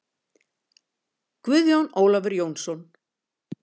Guðjón Ólafur Jónsson